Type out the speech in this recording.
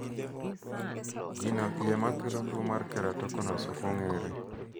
gino iye makelo tuo mar keratokonus ok onge're